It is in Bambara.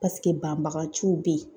Paseke banbagaciw bɛ ye.